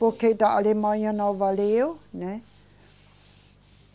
Porque da Alemanha não valeu, né?